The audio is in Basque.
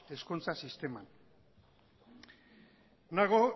hezkuntza sisteman nago